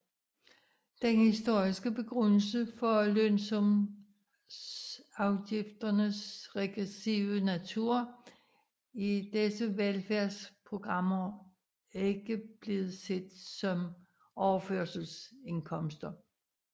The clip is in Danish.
Den historiske begrundelse for lønsumsafgifternes regressive natur er disse velfærdsprogrammer ikke blevet set som overførselsindkomster